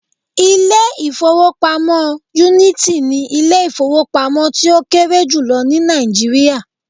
Ilé ìfowópamọ́ Unity ni Ilé ìfowópamọ́ tí ó kéré jùlọ ní Nàìjíríà